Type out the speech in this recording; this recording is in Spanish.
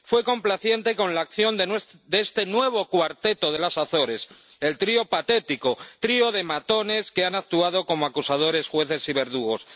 fue complaciente con la acción de este nuevo cuarteto de las Azores el trío patético, trío de matones que han actuado como acusadores, jueces y verdugos.